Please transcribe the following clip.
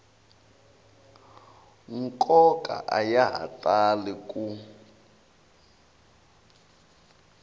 nkoka a ya tali ku